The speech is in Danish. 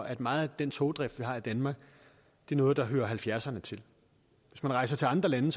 at meget af den togdrift vi har i danmark er noget der hører nitten halvfjerdserne til hvis man rejser til andre lande